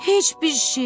Heç bir şey.